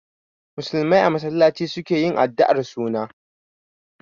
Musulmai a masallaci su ke yin addu'ar suna.